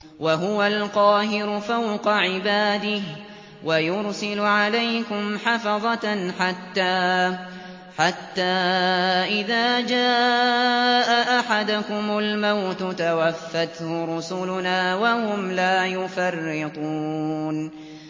وَهُوَ الْقَاهِرُ فَوْقَ عِبَادِهِ ۖ وَيُرْسِلُ عَلَيْكُمْ حَفَظَةً حَتَّىٰ إِذَا جَاءَ أَحَدَكُمُ الْمَوْتُ تَوَفَّتْهُ رُسُلُنَا وَهُمْ لَا يُفَرِّطُونَ